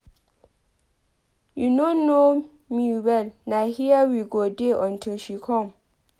You no know me well na here we go dey until she come.